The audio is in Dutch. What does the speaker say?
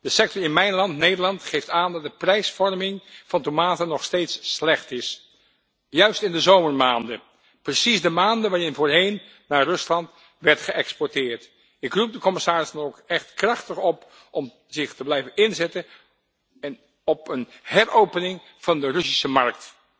De sector in mijn land, Nederland, geeft aan dat de prijsvorming van tomaten nog steeds slecht is, uitgerekend in de zomermaanden, precies de maanden waarin voorheen naar Rusland werd geëxporteerd. Ik roep de commissaris dan ook krachtig op om zich te blijven inzetten voor een heropening van de Russische markt.